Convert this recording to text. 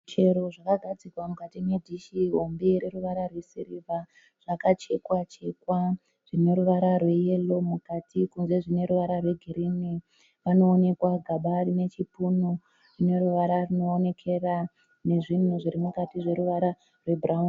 Michero zvakagadzikwa mukati nedhishi hombe reruvara rwesirivha zvakachekwa chekwa zvine ruvara rweyero mukati kunze zvine ruvara rwegirinhi. Panoonekwa gaba nechipunu zvine ruvara rwunoonekera nezvinhu zviri mukati zveruvara rwebhurawuni.